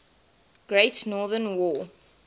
great northern war